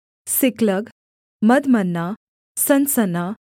सिकलग मदमन्ना सनसन्ना